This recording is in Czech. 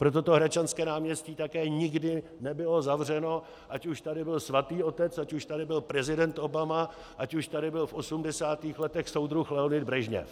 Proto to Hradčanské náměstí také nikdy nebylo zavřeno, ať už tady byl Svatý Otec, ať už tady byl prezident Obama, ať už tady byl v 80. letech soudruh Leonid Brežněv.